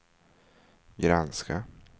granska